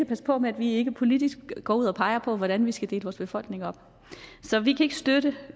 passe på med at vi ikke politisk går ud og peger på hvordan vi skal dele vores befolkning op så vi kan ikke støtte